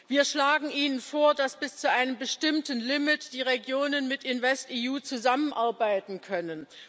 Wir schlagen Ihnen vor, dass bis zu einem bestimmten Limit die Regionen mit InvestEU zusammenarbeiten können.